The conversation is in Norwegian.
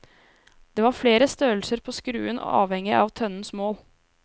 Det var flere størrelser på skruen avhengig av tønnens mål.